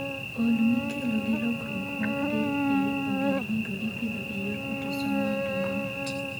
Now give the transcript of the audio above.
OI mikelo gi lokruok mag del e ogendinigo ipidho e yor autosomal dominant.